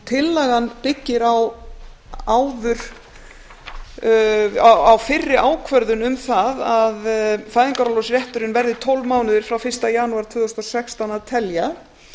tillagan byggir á fyrri ákvörðun um það að fæðingarorlofsrétturinn verði tólf mánuðir frá fyrsta janúar tvö þúsund og sextán að telja